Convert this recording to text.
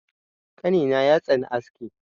Ƙanina ya tsani aski.